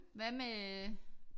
Hvad med